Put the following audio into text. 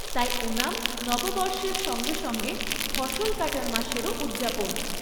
তাই ওনাম নববর্ষের সঙ্গে সঙ্গে ফসল কাটার মাসেরও উদযাপন।